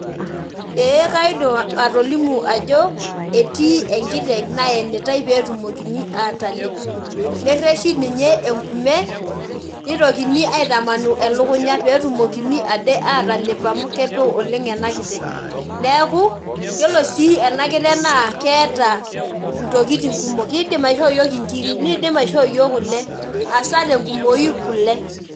Ee kaidim atolimu ajo etii enkiteng naenitae petumokini atalep , nereshi ninye enkume nitokini aitamanu elukunya petumokini ade atalep amu kepe oleng ena kiteng neeku yiolo sii ena kiteng naa keeta ntokitin kumok ,kidim aisho yiok inkiri, nidima aishoo yiok kule , hasa tenkumoi kule.